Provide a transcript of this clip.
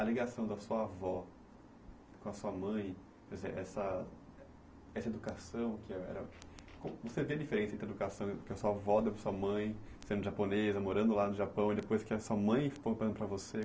a ligação da sua avó com a sua mãe, quer dizer, essa essa educação que era... Você vê a diferença entre a educação que a sua avó deu para a sua mãe, sendo japonesa, morando lá no Japão, e depois que a sua mãe foi para você.